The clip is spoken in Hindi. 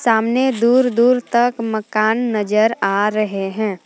सामने दूर दूर तक मकान नजर आ रहे हैं।